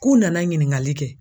K'u nana ɲininkali kɛ